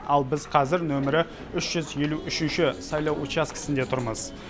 ал біз қазір нөмірі үш жүз елу үшінші сайлау учаскесінде тұрмыз